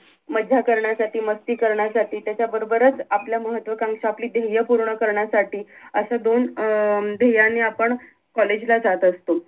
मज्जा करण्यासाठी मस्ती करण्यासाठी त्याच्याबरोबरच आपल्या महत्वाकांक्षा आपली धेर्य पूर्ण करण्यासाठी अश्या दोन अं धेर्ययांनि आपण कॉलेज ला जात असतो